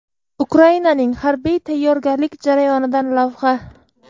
Ukrainaning harbiy tayyorgarlik jarayonidan lavha.